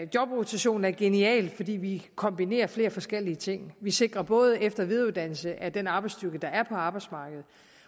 jobrotation er genial fordi vi kombinerer flere forskellige ting vi sikrer både efter og videreuddannelse af den arbejdsstyrke der er på arbejdsmarkedet